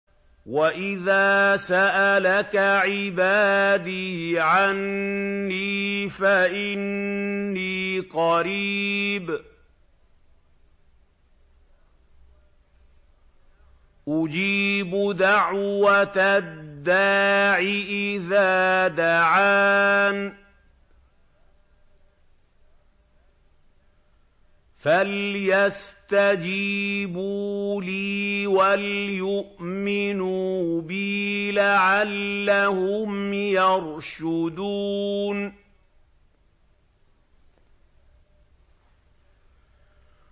وَإِذَا سَأَلَكَ عِبَادِي عَنِّي فَإِنِّي قَرِيبٌ ۖ أُجِيبُ دَعْوَةَ الدَّاعِ إِذَا دَعَانِ ۖ فَلْيَسْتَجِيبُوا لِي وَلْيُؤْمِنُوا بِي لَعَلَّهُمْ يَرْشُدُونَ